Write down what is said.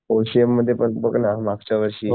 portion मध्ये पण बघ ना मागच्या वर्षी